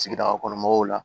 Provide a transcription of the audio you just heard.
Sigida kɔnɔ mɔgɔw la